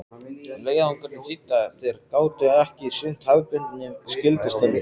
Leiðangurinn þýddi að þeir gátu ekki sinnt hefðbundnum skyldustörfum.